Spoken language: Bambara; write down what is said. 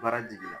Baara jiginna